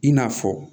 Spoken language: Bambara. I n'a fɔ